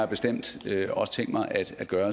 bestemt også tænkt mig at gøre